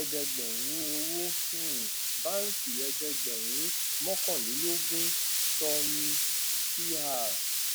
ẹdẹgbẹrún owó um báǹkì ẹdẹgbẹrún mókànlélógún soni cr